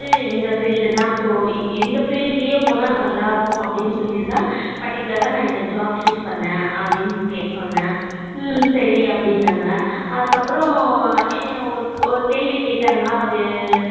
இந்த field தான் so இந்த field லே போனா நல்லா இருக்கும் அப்படின்னு சொல்லித்தான் particular நா இந்த job choose பன்னேன் அப்படினு சொன்னேன் ஹம் சரி அப்படினாங்க அதுக்கு அப்பறம் ஒரு கேள்வி கேட்டாங்க அது